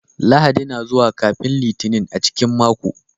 Lahadi na zuwa kafin Litinin a cikin mako.